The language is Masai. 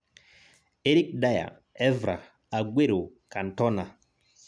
Eric Dier: Evra, Aguero, Cantona